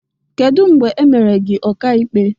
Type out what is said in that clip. Kedụ mgbe emere gị ọka ikpe?